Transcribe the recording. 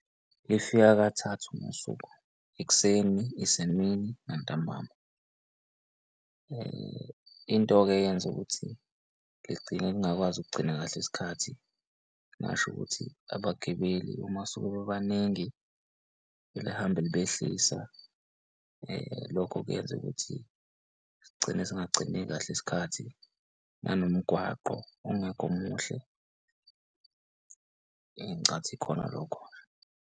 Lifika kathathu ngosuku ekuseni, isemini nantambama. Into-ke eyenza ukuthi ligcine lingakwazi ukugcina kahle isikhathi ngingasho ukuthi abagibeli uma sebebaningi lihambe libehlisa lokho kuyenza ukuthi sigcine singagcini kahle isikhathi, nanomgwaqo ongekho muhle eyi, ngicathi ikhona lokho.